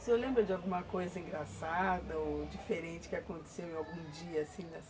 O senhor lembra de alguma coisa engraçada ou diferente que aconteceu em algum dia, assim?